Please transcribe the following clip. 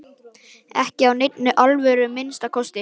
Ekki af neinni alvöru að minnsta kosti.